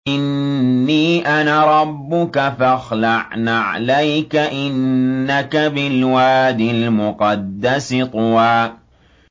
إِنِّي أَنَا رَبُّكَ فَاخْلَعْ نَعْلَيْكَ ۖ إِنَّكَ بِالْوَادِ الْمُقَدَّسِ طُوًى